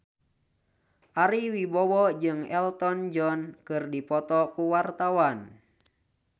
Ari Wibowo jeung Elton John keur dipoto ku wartawan